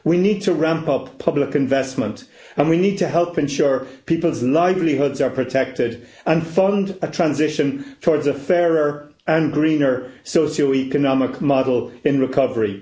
We need to ramp up public investment and we need to help ensure people's livelihoods are protected and fund a transition towards a fairer and greener socio economic model in recovery.